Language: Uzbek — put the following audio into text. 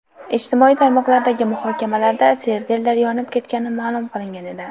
Ijtimoiy tarmoqlardagi muhokamalarda serverlar yonib ketgani ma’lum qilingan edi .